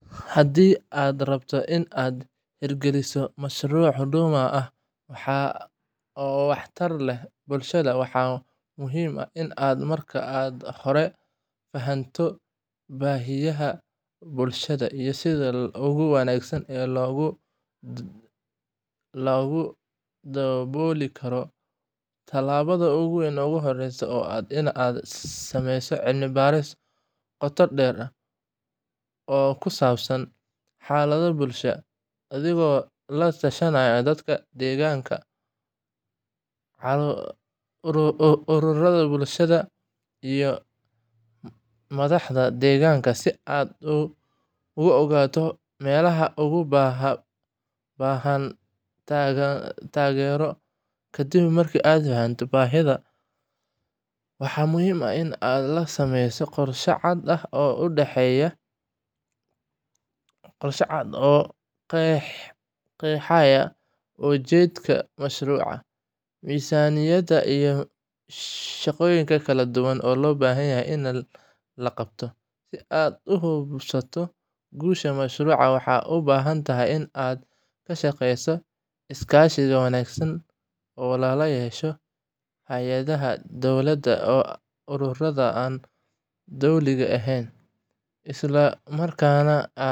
Haddii aad rabto inaad hirgeliso mashruuc Huduma ah oo waxtar leh bulshada, waxaa muhiim ah inaad marka hore fahamto baahiyaha bulshada iyo sida ugu wanaagsan ee loo dabooli karo. Tallaabada ugu horreysa waa inaad sameysid cilmi baaris qoto dheer oo ku saabsan xaaladda bulshadaada, adigoo la tashanaya dadka deegaanka, ururada bulshada, iyo madaxda deegaanka si aad u ogaato meelaha ugu baahan taageero. Kadib markaad fahanto baahiyaha, waxaa muhiim ah in la sameeyo qorshe cad oo qeexaya ujeedada mashruuca, miisaaniyadda, iyo shaqooyinka kala duwan ee loo baahan yahay in la qabto.